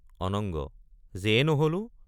অনঙ্গ—যেয়ে নহলো।